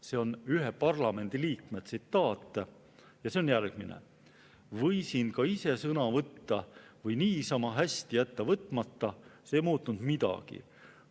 See on ühe parlamendiliikme tsitaat ja see on järgmine: "Võisin ka ise sõna võtta või niisama hästi jätta võtmata – see ei muutnud midagi.